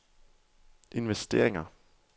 investeringer